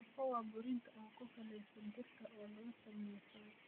Tofu waa borotiin ku salaysan dhirta oo laga sameeyay soy.